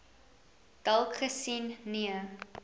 dalk gesien nee